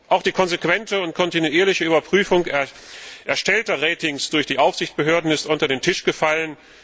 Auch die konsequente und kontinuierliche Überprüfung erstellter Ratings durch die Aufsichtsbehörden ist unter den Tisch gefallen.